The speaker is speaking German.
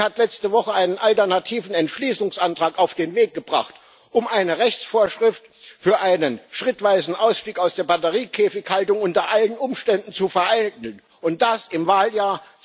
Sie hat letzte Woche einen alternativen Entschließungsantrag auf den Weg gebracht, um eine Rechtsvorschrift für einen schrittweisen Ausstieg aus der Batteriekäfighaltung unter allen Umständen zu vereiteln und das im Wahljahr